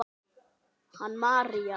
Hanna María.